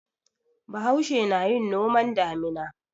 Bahaushe na yin noman damina.